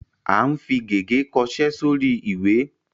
À ń fi gègé kọṣẹ́ sórí ìwé.